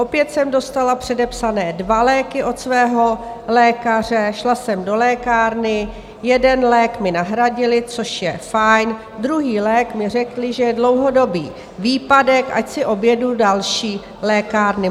Opět jsem dostala předepsané dva léky od svého lékaře, šla jsem do lékárny, jeden lék mi nahradili, což je fajn, druhý lék mi řekli, že je dlouhodobý výpadek, ať si objedu další lékárny.